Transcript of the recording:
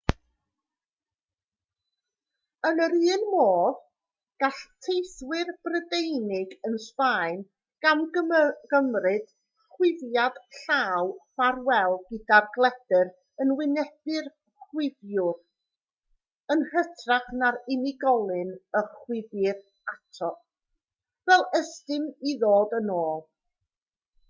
yn yr un modd gall teithiwr prydeinig yn sbaen gamgymryd chwifiad llaw ffarwel gyda'r gledr yn wynebu'r chwifiwr yn hytrach na'r unigolyn y chwifir ato fel ystum i ddod yn ôl